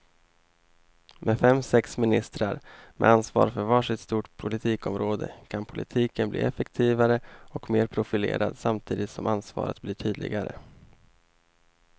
Med fem, sex ministrar med ansvar för var sitt stort politikområde kan politiken bli effektivare och mer profilerad samtidigt som ansvaret blir tydligare.